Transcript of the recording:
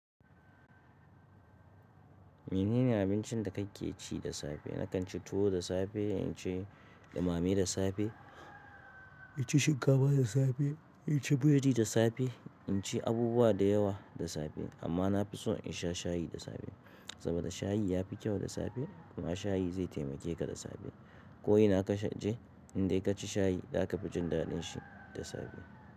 Menene abincin da kake ci da safe? Nakan ci tuwo da safe, in ci ɗumame da safe, in ci shinkafa da safe, in ci buredi da safe. In ci abubuwa da yawa da safe amma na fi so in sha shayi da safe. Saboda shayi ya fi kyau da safe kuma shayi zai taimake ka da safe. Ko ina ka je in dai ka ci shayi za ka fi jin daɗin shi da safe.